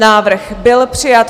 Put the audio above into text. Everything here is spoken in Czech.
Návrh byl přijat.